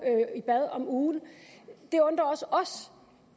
i bad om ugen det undrer også os